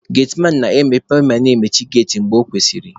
Getiman na-emepe ma na emechi geti mgbe ọ kwesịrị.